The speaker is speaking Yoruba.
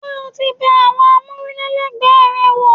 Ṣé o ti bẹ àwọn amule lẹgbẹ rẹ wò?